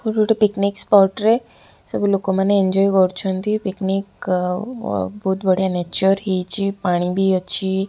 କୋଉଠି ଗୋଟେ picnic spot ରେ ସବୁ ଲୋକମାନେ ଏଞ୍ଜୟ କରୁଛନ୍ତି ପିକନିକ୍ ଅ ବହୁତ୍ ବଢିଆ ନେଚର ହେଇଛି ପାଣି ବି ଅଛି।